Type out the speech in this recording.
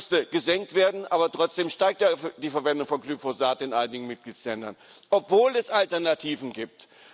Ja, es müsste gesenkt werden aber trotzdem steigt die Verwendung von Glyphosat in einigen Mitgliedstaaten, obwohl es Alternativen gibt.